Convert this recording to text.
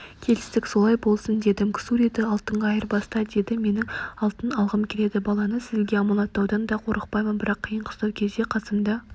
келістік солай болсын дедім ксуриді алтынға айырбаста деді менің алтын алғым келеді баланы сізге аманаттаудан да қорықпаймын бірақ қиын-қыстау кезде қасымда